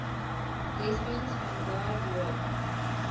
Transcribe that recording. lesbians vanguard role